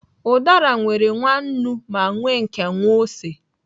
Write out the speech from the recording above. Udara nwere nwa nnu, ma nwee nke nwa ose.